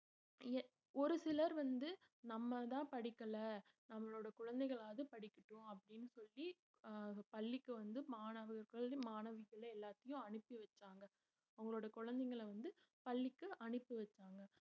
ஒரு சிலர் வந்து நம்மதான் படிக்கலை நம்மளோட குழந்தைகளாவது படிக்கட்டும் அப்படின்னு சொல்லி அஹ் பள்ளிக்கு வந்து மாணவர்கள் மாணவிகள் எல்லாத்தையும் அனுப்பி வச்சாங்க அவங்களோட குழந்தைங்களை வந்து பள்ளிக்கு அனுப்பி வச்சாங்க